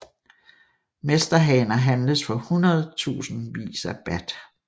Mesterhaner handles for hundredtusindvis af baht